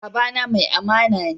Baba na mai amana ne